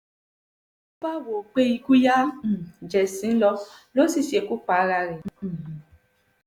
ló bá wò ó pé ikú yá um ju ẹ̀sín lọ ó sì ṣekú pa ara rẹ̀ um